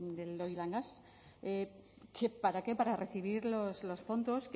del oilgas para qué para recibir los fondos